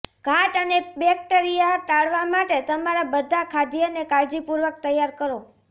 ઘાટ અને બેક્ટેરિયા ટાળવા માટે તમારા બધા ખાદ્યને કાળજીપૂર્વક તૈયાર કરો